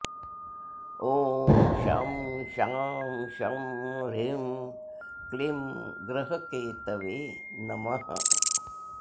ॐ शं शां षं ह्रीं क्लीं ग्रहकेतवे नमः